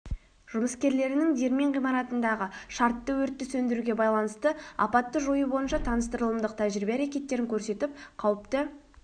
жұмыскерлерінің диірмен ғимаратындағы шартты өртті сөндіруге байланысты апатты жою бойынша таныстырылымдық тәжірибе әрекеттерін көрсетіп қауіпті